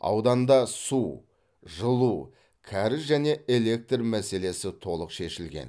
ауданда су жылу кәріз және электр мәселесі толық шешілген